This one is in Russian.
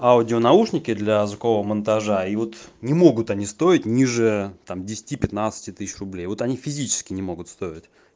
аудио наушники для звукового монтажа и вот не могут они стоить ниже там десяти пятнадцати тысяч рублей вот они физически не могут стоить